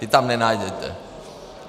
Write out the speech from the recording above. Ty tam nenajdete.